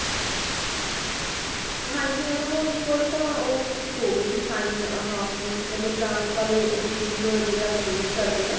ਹਾਂਜੀ madam ਉਹ ਇਕ ਵਾਰੀ ਤਾ ਹੋ ਗਏ ਸੀ sign ਆਪ ਕਿ ਕਹਿੰਦੇ grant ਵਾਲੇ rupees ਜੇੜੇ ਆਪ use ਕਰਦੇ ਹਾਂ